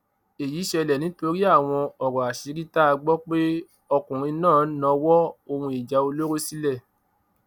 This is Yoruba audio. èyí ṣẹlẹ nítorí àwọn ọrọ àṣírí tá a gbọ pé ọkùnrin náà náwọn ohun ìjà olóró nílẹ